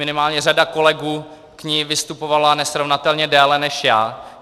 Minimálně řada kolegů k ní vystupovala nesrovnatelně déle než já.